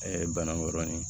banakɔrɔnin